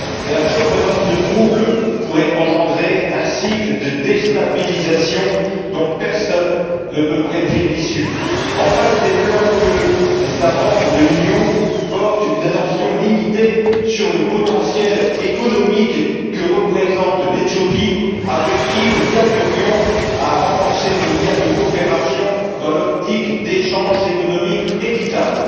La survenance de troubles pourrait engendrer un cycle de déstabilisation dont personne ne peut prédire l'issue. Enfin, je déplore que les États membres de l'Union portent une attention limitée au potentiel économique que représente l'Éthiopie, avec qui nous gagnerions à renforcer nos liens de coopération dans l'optique d'échanges économiques équitables.